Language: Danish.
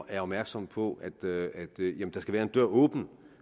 er opmærksomme på at der skal være en dør åben